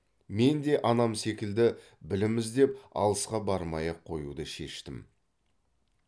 мен де анам секілді білім іздеп алысқа бармай ақ қоюды шештім